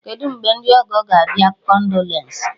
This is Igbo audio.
Kedụ mgbe ndị ọgọ ga abịa-kondolensị?